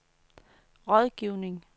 rådgivning